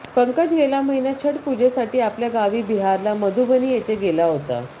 पंकज गेल्या महिन्यात छट पुजेसाठी आपल्या गावी बिहारला मधुबनी येथे गेला होता